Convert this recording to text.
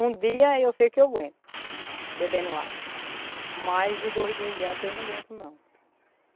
Um dia eu sei que eu aguento bebendo água, mas de dois dias em diante eu não aguento não.